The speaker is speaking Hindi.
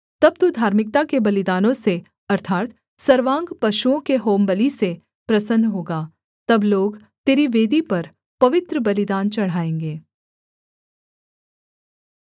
तब तू धार्मिकता के बलिदानों से अर्थात् सर्वांग पशुओं के होमबलि से प्रसन्न होगा तब लोग तेरी वेदी पर पवित्र बलिदान चढ़ाएँगे